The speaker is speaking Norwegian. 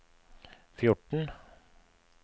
fjorten